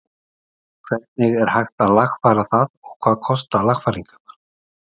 Hvernig er hægt að lagfæra það og hvað kosta lagfæringarnar?